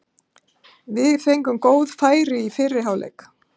Við fengum góð færi í fyrri hálfleik.